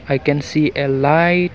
we can see a light.